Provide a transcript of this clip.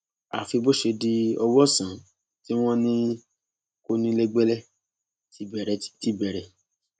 àfi bó ṣe di ọwọ ọsán tí wọn ní kọnilẹgbẹlẹ ti bẹrẹ ti bẹrẹ